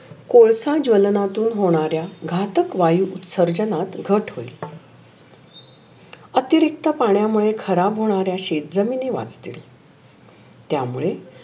कोळसा ज्वलनातून होनाऱ्या घातक वायु संशोनात घट होइल. अतिरिक्त पाण्यामुळे खराब होणाऱ्या शेतजमिनी वाचते. त्यामुळे